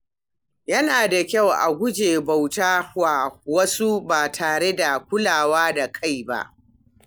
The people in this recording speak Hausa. Yana da kyau a guji bauta wa wasu ba tare da kulawa da kai ba.